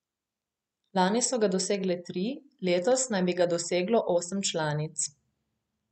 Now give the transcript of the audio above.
Lani so ga dosegale tri, letos naj bi ga doseglo osem članic.